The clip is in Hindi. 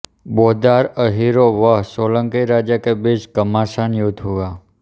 बोदार अहीरो व सोलंकी राजा के बीच घमासान युद्ध हुआ